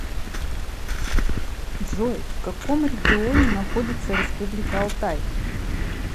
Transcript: джой в каком регионе находится республика алтай